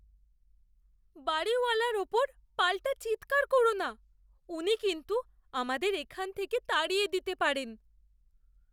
বাড়িওয়ালার ওপর পাল্টা চিৎকার কোরো না। উনি কিন্তু আমাদের এখান থেকে তাড়িয়ে দিতে পারেন।